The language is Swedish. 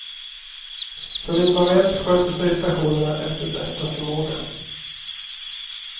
Så vitt man vet sköter sig stationerna efter bästa förmåga.